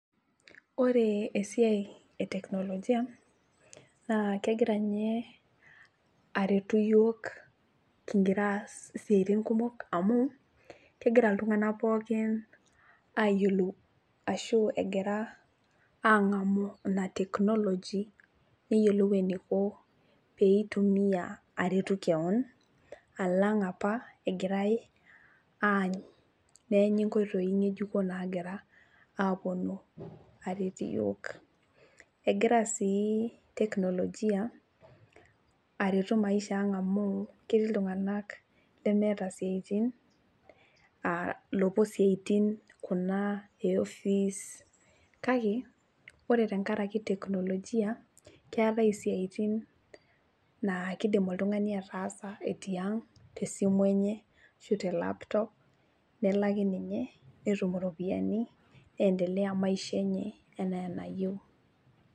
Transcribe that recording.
Ore esiai eteknolojia naa kegira ninye aretu yiok kingira aas isiatin kumok amu kegira iltunganak pookin ayiolou ashu egira angamu inateknology neyiolou eniko peitumia aret kewon alang apa egirae aany , neenyi nkoitoi ngejuko nagira aponu aret iyiok. Egira sii teknolojia aretu maishaa ang amu ketii iltunganak lemeeta isiatin aa lopuo siatin kuna eoffice kake ore tenkaraki tenknolojia keetae isiatin naa kidim oltungani ataasa tiang tesimu enye ashu telaptop nelaki ninye netum iropiyiani neendelea maisha enye enaa enayieu.